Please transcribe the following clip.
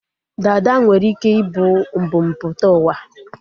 Dada nwere ike ị bụ mbumputauwa